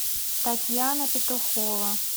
татьяна петухова